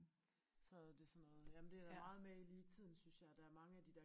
Så er det sådan noget jamen det der meget med i lige i tiden synes jeg der er mange af de der